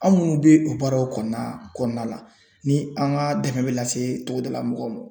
An minnu bɛ o baaraw kɔnɔna kɔnɔna la ni an ka dɛmɛ bɛ lase togodala mɔgɔw ma .